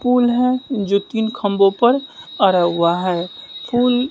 पुल है जो तीन खंभों पर अड़ा हुआ है पूल--